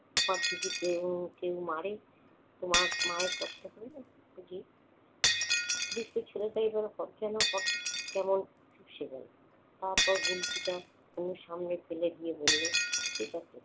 পাখিকে কেউ~ কেউ মারে। তোমার মায়ের কষ্ট হবে না বুঝি? দুষ্টু ছেলেটা এবার এসে গেলো। তারপর গুলতিটা তনুর সামনে ফেলে দিয়ে বলল, ঠিক আছে।